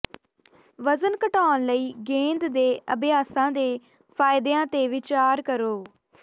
ਵਜ਼ਨ ਘਟਾਉਣ ਲਈ ਗੇਂਦ ਦੇ ਅਭਿਆਸਾਂ ਦੇ ਫਾਇਦਿਆਂ ਤੇ ਵਿਚਾਰ ਕਰੋ